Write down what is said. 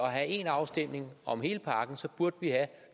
have en afstemning om hele pakken burde have